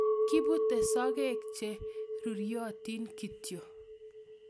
Kipute sogek che ruriotin kityo